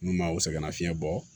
N'u ma o sɛgɛnnafiɲɛ bɔ